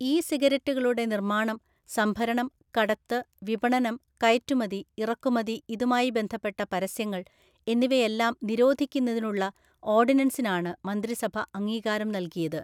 E സിഗരറ്റുകളുടെ നിർമ്മാണം, സംഭരണം, കടത്ത്, വിപണനം, കയറ്റുമതി, ഇറക്കുമതി, ഇതുമായി ബന്ധപ്പെട്ട പരസ്യങ്ങള്‍ എന്നിവയെല്ലാം നിരോധിക്കുന്നതിനുള്ള ഓര്‍ഡിനന്‍സിനാണ് മന്ത്രിസഭ അംഗീകാരം നല്കിയത്.